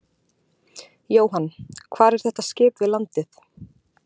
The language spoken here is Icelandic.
Jóhann: Hvar er þetta skip við landið?